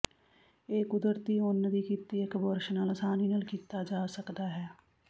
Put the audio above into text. ਇਹ ਕੁਦਰਤੀ ਉੱਨ ਦੀ ਕੀਤੀ ਇੱਕ ਬੁਰਸ਼ ਨਾਲ ਆਸਾਨੀ ਨਾਲ ਕੀਤਾ ਜਾ ਸਕਦਾ ਹੈ